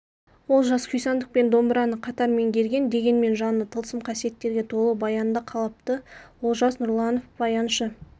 олжас күйсандық пен домбыраны қатар меңгерген дегенмен жаны тылсым қасиеттерге толы баянды қалапты олжас нұрланов баяншы